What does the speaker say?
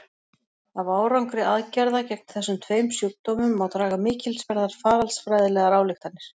Af árangri aðgerða gegn þessum tveim sjúkdómum má draga mikilsverðar faraldsfræðilegar ályktanir.